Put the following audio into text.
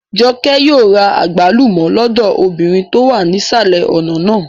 Jọkẹ́ yóò ra àgbálùmọ́ lọ́dọ̀ obìnrin tó wà nísàlẹ̀ ọ̀nà náà